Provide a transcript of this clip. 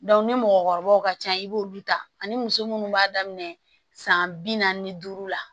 ni mɔgɔkɔrɔbaw ka ca i b'olu ta ani muso munnu b'a daminɛ san bi naani ni duuru la